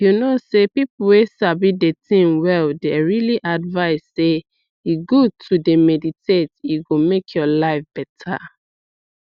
u know sey people wey sabi dey thing well dey really advice sey e good to d meditate e go make ur life beta